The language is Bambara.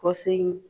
Kɔsigi